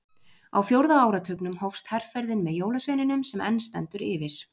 á fjórða áratugnum hófst herferðin með jólasveininum sem enn stendur yfir